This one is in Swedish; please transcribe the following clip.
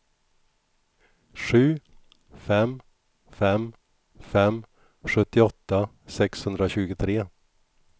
sju fem fem fem sjuttioåtta sexhundratjugotre